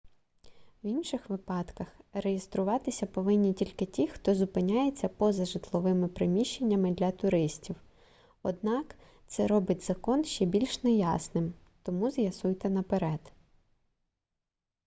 в інших випадках реєструватися повинні тільки ті хто зупиняється поза житловими приміщеннями для туристів однак це робить закон ще більш неясним тому з'ясуйте наперед